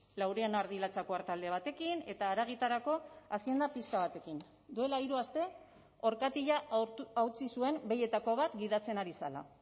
laurehun ardi latxako artalde batekin eta haragitarako hazienda pixka batekin duela hiru aste orkatila hautsi zuen behietako bat gidatzen ari zela